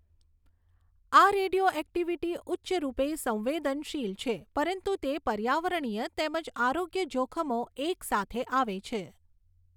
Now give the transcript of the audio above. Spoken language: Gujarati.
આ રેડિયોઍક્ટિવિટી ઉચ્ચરૂપે સંવેદનશીલ છે પરંતુ તે પર્યાવરણીય તેમજ આરોગ્ય જોખમો એક સાથે આવે છે.